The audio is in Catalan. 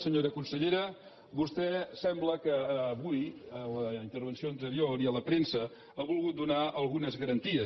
senyora consellera vostè sembla que avui en la intervenció anterior i a la premsa ha volgut donar algunes garanties